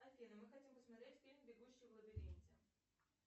афина мы хотим посмотреть фильм бегущий в лабиринте